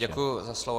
Děkuji za slovo.